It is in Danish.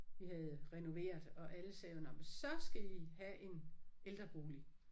Vi havde renoveret og alle sagde jo nåh men så skal I have en ældrebolig